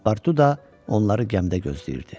Paspartu da onları gəmidə gözləyirdi.